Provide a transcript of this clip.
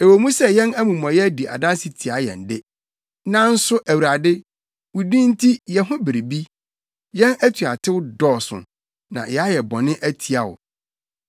Ɛwɔ mu sɛ yɛn amumɔyɛ di adanse tia yɛn de, nanso Awurade, wo din nti yɛ ho biribi. Yɛn atuatew dɔɔso; na yɛayɛ bɔne atia wo.